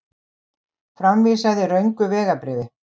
Framvísaði röngu vegabréfi